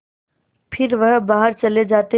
फिर वह बाहर चले जाते